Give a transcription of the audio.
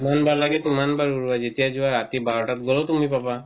যিমান বাৰ লাগে সিমান বাৰ উলোৱা যেতিয়া যোৱা ৰাতি 12 তাত গলেও তুমি পাবা